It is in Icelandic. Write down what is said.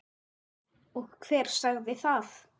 Og hver sagði það?